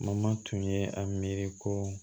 Mama tun ye a miiri ko